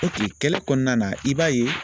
kɛlɛ kɔnɔna na i b'a ye.